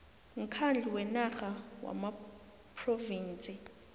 mkhandlu wenarha wamaphrovinsi